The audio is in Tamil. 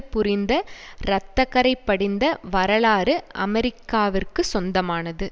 புரிந்த இரத்த கறை படிந்த வரலாறு அமெரிக்காவிற்கு சொந்தமானது